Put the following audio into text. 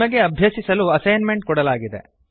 ನಿಮಗೆ ಅಭ್ಯಸಿಸಲು assignment ಅನ್ನು ಕೊಡಲಾಗಿದೆ